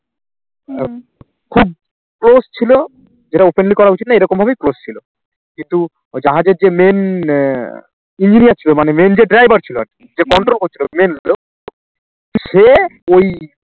খুব close ছিল যেটা openly করা উচিত না এরকম ভাবেই close ছিল কিন্তু ওই জাহাজের যে main আহ engineer ছিল মানে main যে driver ছিল আর কি যে control করছিল main লোক সে ওই